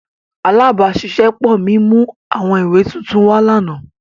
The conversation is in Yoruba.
Alabaṣiṣẹpọ mi mu awọn iwe tuntun wa lana.